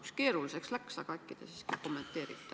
Natuke keeruliseks läks, aga äkki te siiski kommenteerite.